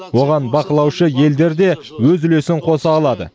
оған бақылаушы елдер де өз үлесін қоса алады